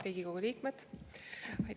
Riigikogu liikmed!